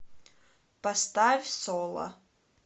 поставь соло